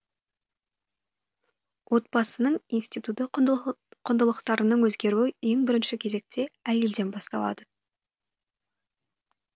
отбасының институты құндылықтарының өзгеруі ең бірінші кезекте әйелден басталады